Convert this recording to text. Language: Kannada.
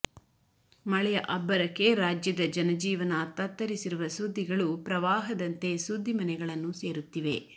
ಮಳೆಯ ಅಬ್ಬರಕ್ಕೆ ರಾಜ್ಯದ ಜನಜೀವನ ತತ್ತರಿಸಿರುವ ಸುದ್ದಿಗಳು ಪ್ರವಾಹದಂತೆ ಸುದ್ದಿಮನೆಗಳನ್ನು ಸೇರುತ್ತಿವೆ